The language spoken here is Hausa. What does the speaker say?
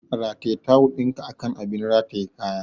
Rataye tawul ɗinka akan abin rataye kaya!